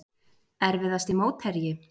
Erfiðasti mótherji?